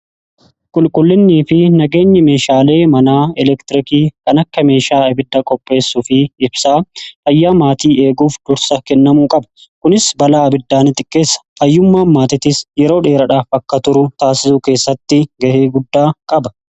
Qulqullinnii fi nageenyi meeshaalee manaa elektirikii kan akka meeshaa ibidda qopheessuu fi qabsiisuu fayyaa maatii eeguuf dursa kennamuu qaba. kunis balaa ibiddaanii xiqqeessa fayyummaan maatiitis yeroo dheeradhaaf akka turu taasisu keessatti ga'ee guddaa qaba.